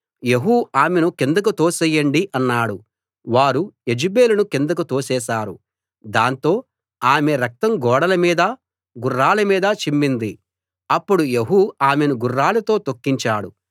యెహూ ఆమెను కిందకు తోసెయ్యండి అన్నాడు వారు యెజెబెలుని కిందకు తోసేశారు దాంతో ఆమె రక్తం గోడలమీదా గుర్రాలమీదా చిమ్మింది అప్పుడు యెహూ ఆమెను గుర్రాలతో తొక్కించాడు